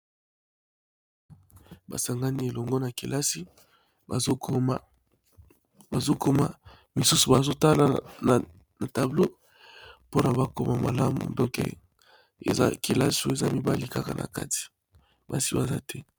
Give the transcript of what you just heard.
Ba sangani elongo na kelasi bazo koma misusu bazo tala na tableau pona ba koma malamu donc, eza kelasi oyo eza mibali kaka na kati , basi baza te .